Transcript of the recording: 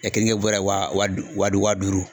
keninkɛ bɔrɔ ye wa wa d wa duuru